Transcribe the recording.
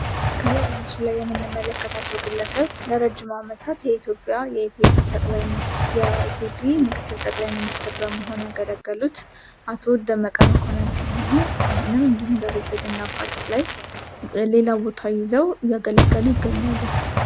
ከላይ በምስሉ ላይ የምንመለከታቸው ግለሰብ ለረጅም አመታት የኢትዮጵያ የኢፌድሪ ምክትል ጠቅላይ ሚኒስተር በመሆን ያገለገሉት አቶ ደመቀ መኮነን ሲሆኑ አሁንም እንዲሀም በብልፅግና ፓርቲ ላይ ሌላ ቦታ ይዘው እያገለገሉ ይገኛሉ።